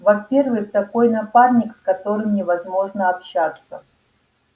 во-первых такой напарник с которым невозможно общаться